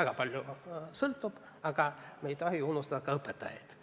väga palju, aga me ei tohi unustada ka õpetajaid.